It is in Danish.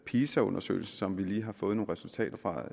pisa undersøgelsen som vi lige har fået nogle resultater fra